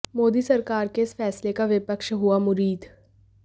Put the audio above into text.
मोदी सरकार के इस फैसले का विपक्ष हुआ मुरीद